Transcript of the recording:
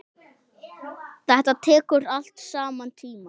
Þetta tekur allt saman tíma.